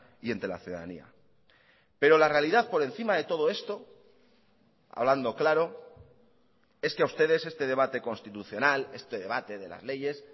y entre la ciudadanía pero la realidad por encima de todo esto hablando claro es que a ustedes este debate constitucional este debate de las leyes